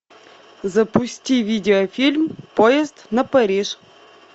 запусти видеофильм поезд на париж